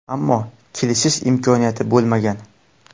Ammo kelishish imkoniyati bo‘lmagan.